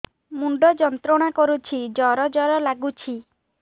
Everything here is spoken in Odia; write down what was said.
ମୁଣ୍ଡ ଯନ୍ତ୍ରଣା କରୁଛି ଜର ଜର ଲାଗୁଛି